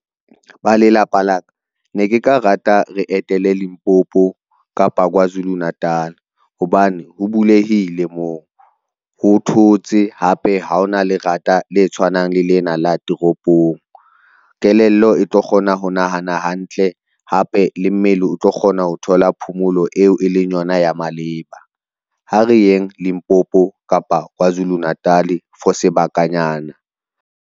Ba lelapa la ka, ne ke ka rata re etele Limpopo kapa Kwazulu-Natal hobane ho bulehile moo ho thotse hape, ha hona lerata le tshwanang le lena la toropong. Kelello e tlo kgona ho nahana hantle hape le mmele o tlo kgona ho thola phomolo eo e leng yona ya maleba. Ha re yeng Limpopo, kapa Kwazulu-Natal for sebakanyana.